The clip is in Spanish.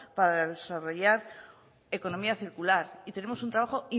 para desarrollar economía circular y tenemos un trabajo